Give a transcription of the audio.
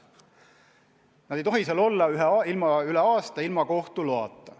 Nad ei tohi seal olla üle aasta ilma kohtu loata.